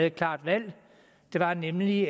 et klart valg nemlig